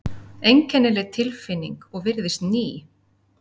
Einkennileg tilfinning og virðist ný.